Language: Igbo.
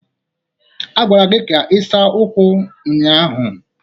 A gwara gị ka ị saa ụkwụ ụnyahụ!